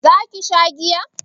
za ki sha giya?